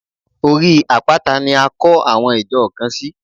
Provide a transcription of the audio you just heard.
Orí àpáta ni a kọ́ àwọn ìjọ kan sí.